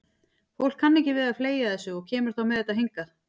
Fólk kann ekki við að fleygja þessu og kemur þá með þetta hingað.